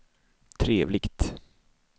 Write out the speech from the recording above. trevligt